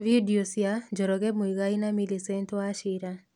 Video cia: Njoroge Muigai na Millicent Wachira.